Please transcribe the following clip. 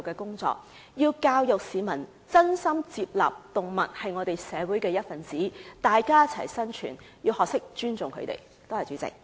我們要教育市民接納動物是社會的一分子，大家一起生存，市民也要學會尊重牠們。